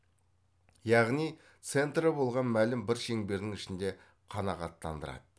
яғни центрі болған мәлім бір шеңберінің ішінде қанағаттандырады